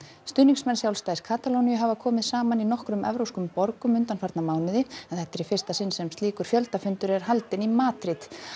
stuðningsmenn sjálfstæðis Katalóníu hafa komið saman í nokkrum evrópskum borgum undanfarna mánuði en þetta er í fyrsta sinn sem slíkur er haldinn í Madríd